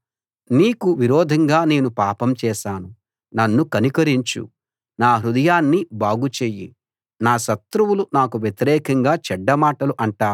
నేనిలా అన్నాను యెహోవా నీకు విరోధంగా నేను పాపం చేశాను నన్ను కనికరించు నా హృదయాన్ని బాగుచెయ్యి